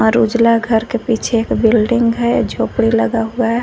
और उजला घर के पीछे एक बिल्डिंग है झोपड़ी लगा हुआ है।